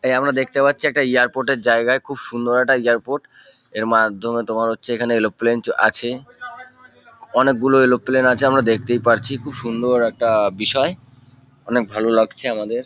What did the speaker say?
এ আমরা দেখতে পারছি এয়ারপোর্ট - এর জায়গায় খুব সুন্দর একটা এয়ারপোর্ট এর মাধ্যমে তোমার হচ্ছে এরোপ্লেন চ আছে। অনেকগুলো এরোপ্লেন আছে আমরা দেখতেই পারছি। খুব সুন্দর একটা বিষয়। অনকে ভালো লাগছে আমাদের।